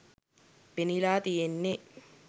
පෙනිලා තියෙන්නෙ